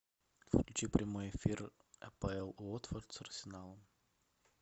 включи прямой эфир апл уотфорд с арсеналом